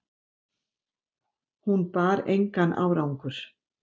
Hún bar engan árangur